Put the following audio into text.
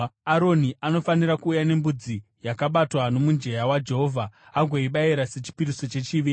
Aroni anofanira kuuya nembudzi yakabatwa nomujenya waJehovha agoibayira sechipiriso chechivi.